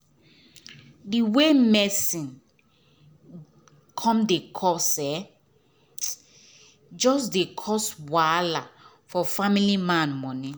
d way medicine come dey cost um jus dey cause wahala for family man moni